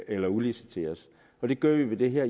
eller udlicitering det gør vi med det her